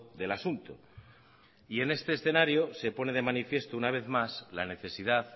del asunto y en este escenario se pone de manifiesto una vez más la necesidad